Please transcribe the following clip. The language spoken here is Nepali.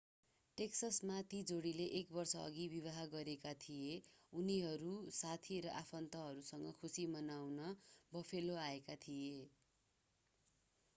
टेक्ससमा ती जोडीले एक वर्षअघि विवाह गरेका थिए उनीहरू साथी र आफन्तहरूसँग खुशी मनाउन बफेलो आएका थिए